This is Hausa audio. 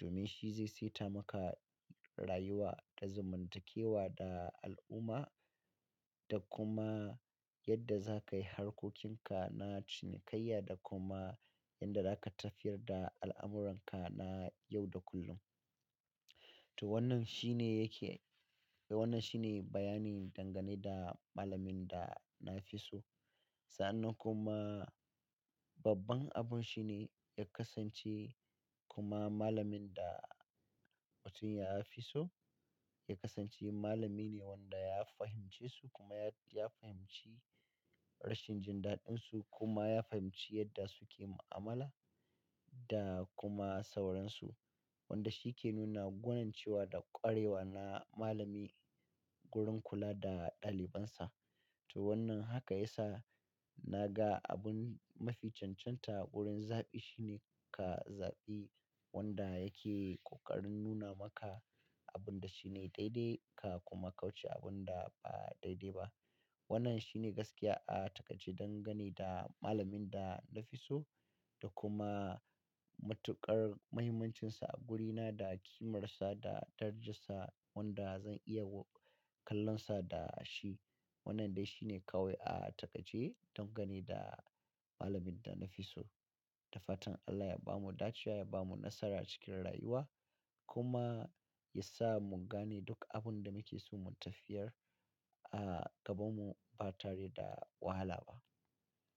Domin shi zai saita maka rayuwa da zamantakewa da al'umma da kuma yadda za ka yi harkokinka na cinikayya da kuma yadda za ka tafiyar da al'amuran ka na yau da kullum. To wannan shi ne yake, wannan shi ne bayani dangane da malamin da na fi so. Sa'annan kuma babban abun shi ne ya kasance kuma malamin da mutum ya fi so ya kasance malami ne wanda ya fahimce su kuma ya fahimci rashin jin daɗin su kuma ya fahimci yadda suke mu'amala da kuma sauransu. Wanda shi ke nuna gwanance wa da ƙwarewa na malami wurin kula da ɗalibansa. To wannan haka ya sa na ga abun mafi cancanta wurin zaɓi shine ka zaɓi wanda yake ƙoƙarin nuna maka abun da shine daidai ka kuma kauce abun da ba daidai ba. Wannan shi ne gaskiya a takaice dangane da malamin da na fi so da kuma matuƙar mahimmancin sa a wuri na da ƙimar sa da darajar sa wanda zan iya kallon sa da shi. Wannan dai shi ne kawai a takaice dangane da malamin da na fi so. Da fatan Allah ya bamu dace wa ya bamu nasara cikin rayuwa kuma ya sa mu gane duk abun da muke so mu tafiyar a gabanmu ba tare da wahala ba.